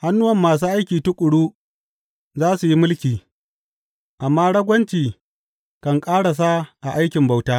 Hannuwan masu aiki tuƙuru za su yi mulki, amma ragwanci kan ƙarasa a aikin bauta.